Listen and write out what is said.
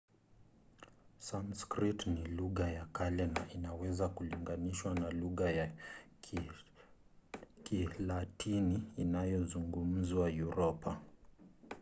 sanskrit ni lugha ya kale na inaweza kulinganishwa na lugha ya kilatini inayozungumzwa uropa